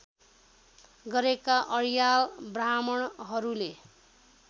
गरेका अर्याल ब्राह्मणहरूले